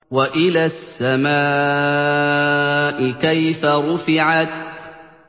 وَإِلَى السَّمَاءِ كَيْفَ رُفِعَتْ